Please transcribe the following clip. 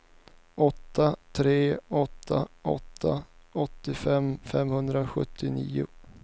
åtta tre åtta åtta åttiofem femhundrasjuttionio